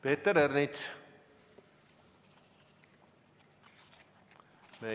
Peeter Ernits!